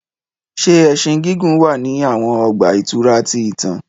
Ṣe ẹṣin gigun wa ni awọn ọgba-ìturá ti itan?